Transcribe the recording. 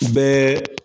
Bɛɛ